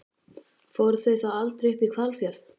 Fóru þau þá aldrei upp í Hvalfjörð?